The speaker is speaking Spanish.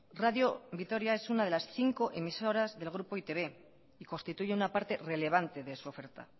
radio vitoria es una de las cinco emisoras del grupo e i te be y constituye una parte relevante de su oferta